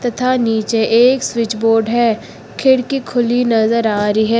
तथा नीचे एक स्विच बोर्ड है खिड़की खुली नजर आ रही है।